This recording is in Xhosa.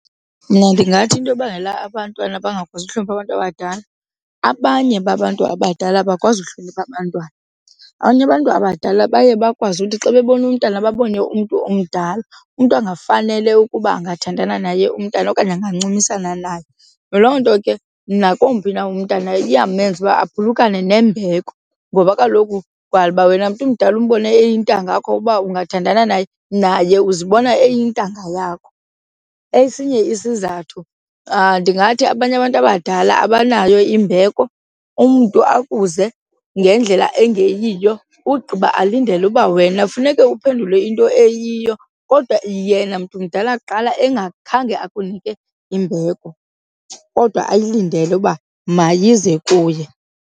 Mna ndingathi into ebangela abantwana bangakwazi ukuhlonipha abantu abadala abanye babantu abadala abakwazi uhlonipha abantwana. Abanye abantu abadala baye bakwazi uthi xa bebona umntana babone umntu omdala, umntu angafanele ukuba angathandana naye umntana okanye angancumisna naye. Loo nto ke nakomphi na umntana iyamenza ukuba aphulukane nembeko ngoba kaloku wala uba wena mntu umdala umbone eyintanga yakho uba ungathandana naye, naye uzibona eyintanga yakho. Esinye isizathu ndingathi abanye abantu abadala abanayo imbeko, umntu akuze ngendlela engeyiyo ugqiba alindele uba wena kafuneke uphendule into eyiyo kodwa yena mntu mdala kuqala engakhange akunike imbeko kodwa ayilindele uba mayize kuye.